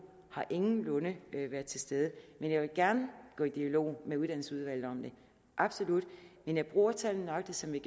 har ingenlunde været til stede jeg vil gerne gå i dialog med uddannelsesudvalget om det absolut men jeg bruger tallene nøjagtig som vi